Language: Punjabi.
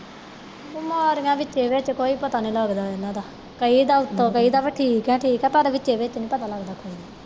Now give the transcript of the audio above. ਬਿਮਾਰੀਆਂ ਵਿਚੇ ਵਿਚ ਕੋਈ ਪਤਾ ਨਹੀਂ ਲਗਦਾ ਇਹਨਾਂ ਦਾ ਕਹਿ ਦਾ ਉੱਤੋਂ ਉੱਤੋਂ ਕਹਿ ਦਾ ਬਹਿ ਠੀਕ ਹੈ ਠੀਕ ਹੈ ਪਰ ਵਿਚੇ ਵਿਚ ਨਹੀਂ ਪਤਾ ਲਗਦਾ ਕੋਈ